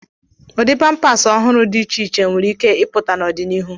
Ụdị pampas ọhụrụ dị iche iche nwere ike ịpụta n'ọdịnihu.